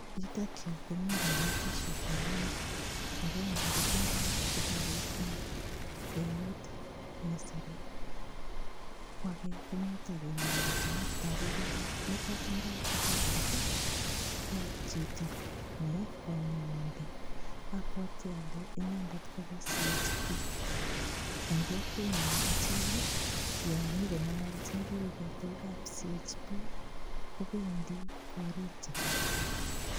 Yutok yu komi kametisiek aengu. Agenge kotindoi kitabut eng eut ne sirei. Ko age kotagengalachin. Tagu kole nitok tindoi kitabut ko chito ne kanyaindet. Abwati ale inendet koboisiechin biik. Eng kokwenyo achek ko yon inyogongalaljin biikab CHB kobendi korik cheterter.